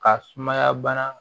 Ka sumaya bana